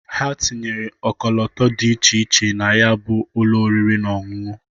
Ha tinyechere ọkọlọtọ dị iche iche na ya bụ ụlọ oriri na ọṅụṅụ.